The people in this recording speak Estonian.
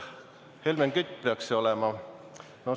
Helmen Kütt peaks see olema?